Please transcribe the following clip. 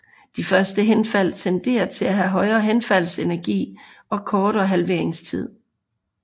De første henfald tenderer til at have højere henfaldsenergi og kortere halveringstid